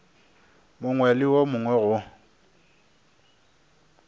mongwe le wo mongwe go